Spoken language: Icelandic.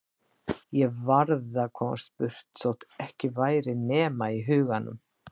Ég varð að komast burt þótt ekki væri nema í huganum.